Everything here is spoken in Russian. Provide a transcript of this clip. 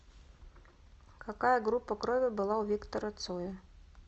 какая группа крови была у виктора цоя